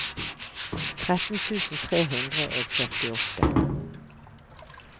tretten tusen tre hundre og førtiåtte